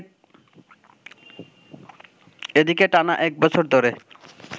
এদিকে টানা একবছর ধরে